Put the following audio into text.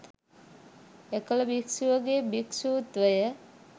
එකළ භික්ෂුවගේ භික්ෂූත්ව